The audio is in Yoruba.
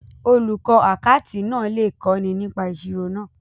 Olùkọ́ àkátì náà lè kọ́ni nípa ìṣirò náà.